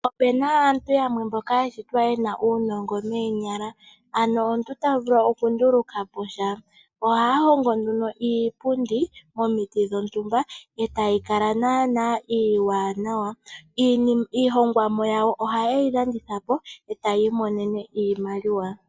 Opuna aantu mboka yashitwa yena uunongo moonyala, ano omuntu ta vulu okunduluka po sha. Ohaa hongo nduno iipundi momiti dhontumba etayi kala naana iiwanawa. Iihongomwa yawo ohaye yi landitha po e taya imonene iimaliwa.